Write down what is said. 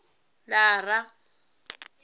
lara